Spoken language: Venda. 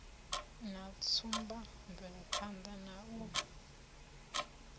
na tsumba mvelaphanḓa na u